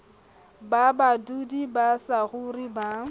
ba badudi ba saruri ba